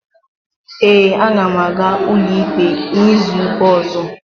Ee, aga m aga ụlọikpe n'izuụka ọ̀zọ́.